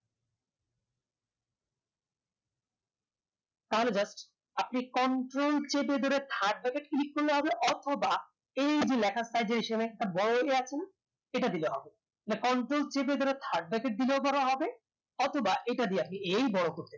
তাহলে just আপনি control চেপে ধরে third backet click করলে হবে অথবা এই যে লেখার style একটা বড় হয়ে আছে এটা দিলে হবে